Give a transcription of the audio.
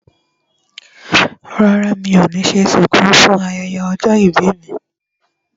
Rárá mi ò ní ṣe ṣùkú fún ayẹyẹ ọjọ́ ìbí mi